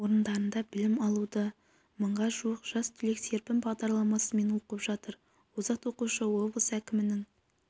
орындарында білім алуда мыңға жуық жас түлек серпін бағдарламасымен оқып жатыр озат оқушы облыс әкімінің